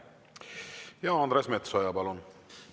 Ja Andres Metsoja, palun!